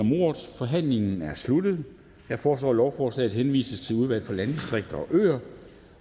om ordet og forhandlingen er sluttet jeg foreslår at lovforslaget henvises til udvalget for landdistrikter